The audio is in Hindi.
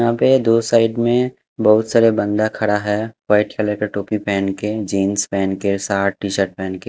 यहां पे दो साइड में बहुत सारे बंदा खड़ा है। व्हाईट कलर का टोपी पहन के जींस पहन के शर्ट टी-शर्ट पहने के --